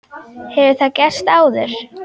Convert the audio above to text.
Hefur það gerst áður?